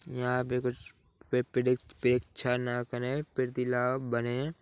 यहाँ पे कुछ पेद्सी पेपे शन छ प्रीति लाभ बने --